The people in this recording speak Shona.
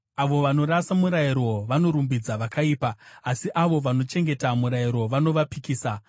Avo vanorasa murayiro vanorumbidza vakaipa, asi avo vanochengeta murayiro vanovapikisa.